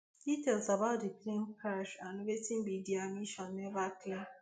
details about di plane crash and wetin bin be dia mission never clear